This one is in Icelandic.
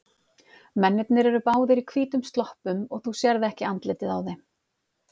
Mennirnir eru báðir í hvítum sloppum og þú sérð ekki andlitið á þeim.